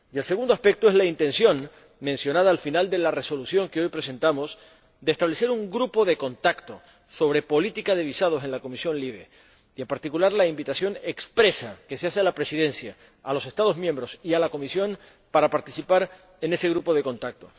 Y el segundo aspecto es la intención, mencionada al final de la Resolución que hoy presentamos, de establecer un grupo de contacto sobre política de visados en la Comisión LIBE y, en particular, la invitación expresa que se hace a la Presidencia, a los Estados miembros y a la Comisión para participar en ese grupo de contacto.